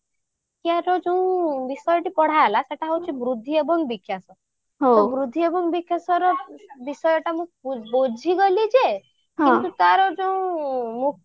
ଶିକ୍ଷାର ଯୋଉ ବିଷୟଟି ପଢା ହେଲା ସେଇଟା ହଉଛି ବୃଦ୍ଧି ଏବଂ ବିକାଶ ତ ବୃଦ୍ଧି ଏବଂ ବିକାଶର ବିଷୟଟା ବୁଝିଗଲେ ଯେ କିନ୍ତୁ ତାର ଯୋଉ ମୁଖ୍ୟ